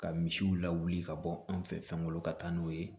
Ka misiw lawuli ka bɔ an fɛ fɛn kɔnɔ ka taa n'o ye